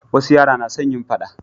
wasu yara na son yin faɗa